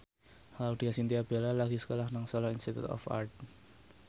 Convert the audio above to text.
Laudya Chintya Bella lagi sekolah nang Solo Institute of Art